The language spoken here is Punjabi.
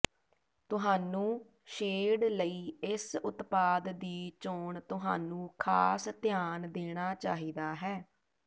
ਤੁਹਾਨੂੰ ਸ਼ੇਡ ਲਈ ਇਸ ਉਤਪਾਦ ਦੀ ਚੋਣ ਤੁਹਾਨੂੰ ਖਾਸ ਧਿਆਨ ਦੇਣਾ ਚਾਹੀਦਾ ਹੈ